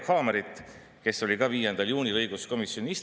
60 mandaati on loonud sellise olukorra, kus nad kahjuks ei otsigi ühiskondlikku kokkulepet.